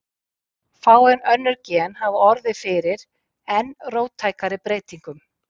Fáein önnur gen hafa orðið fyrir enn róttækari breytingum.